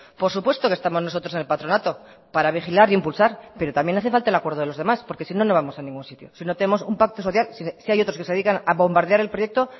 por supuesto que estamos nosotros en el patronato para vigilar e impulsar pero también hace falta el acuerdo de los demás porque sino no vamos a ningún sitio si no tenemos un pacto social si hay otros que se dedican a bombardear el proyecto